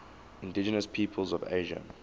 indigenous peoples of asia